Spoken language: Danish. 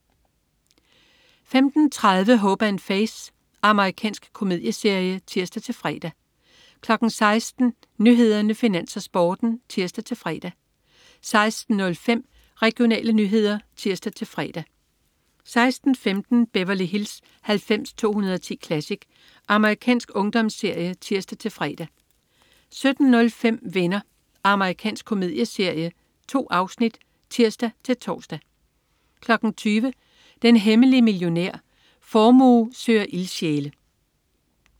15.30 Hope & Faith. Amerikansk komedieserie (tirs-fre) 16.00 Nyhederne, Finans, Sporten (tirs-fre) 16.05 Regionale nyheder (tirs-fre) 16.15 Beverly Hills 90210 Classic. Amerikansk ungdomsserie (tirs-fre) 17.05 Venner. Amerikansk komedieserie. 2 afsnit (tirs-tors) 20.00 Den hemmelige millionær. Formue søger ildsjæle